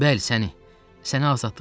Bəli, səni.